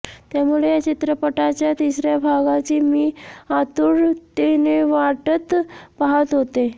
त्यामुळे या चित्रपटाच्या तिसऱ्या भागाची मी आतुरतेने वाटत पाहत होते